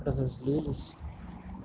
разозлились